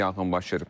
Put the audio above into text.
Yanğın başlayıb.